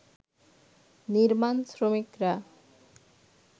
নির্মাণ শ্রমিকরা